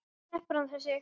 Sleppur hann þessi?